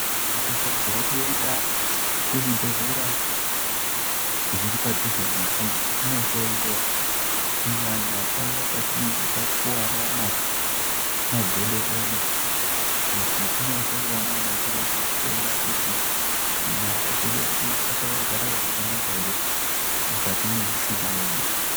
Tinofanirwa kuenda kuzvibhedhlera zviri padhuze nesu tichinohloiwa kunyanya paya patinenge takuwara magodo edu kuti tindohloiwa nana chiremba kuona kuti magodo edu akagara zvakanaka here mukati nemushuna medu.